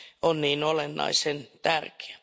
on niin olennaisen tärkeä.